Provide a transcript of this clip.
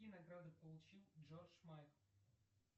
какие награды получил джордж майкл